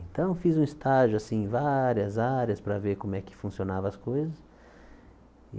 Então, fiz um estágio assim em várias áreas para ver como é que funcionava as coisas.